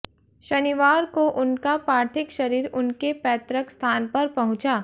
शनिवार को उनका पार्थिक शरीर उनके पैतृक स्थान पर पहुंचा